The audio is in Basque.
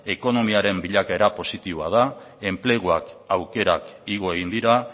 ekonomiaren bilakaera positiboa da enplegu aukerak igo egin dira